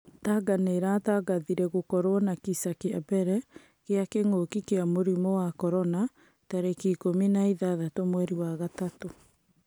Tanga nĩ ĩratangathire gũkorwo na kisa kĩambere gĩa kĩng'ũki kia mũrimũ wa Korona tarĩki ikũmi na ithathatũ mweri wa gatatũ.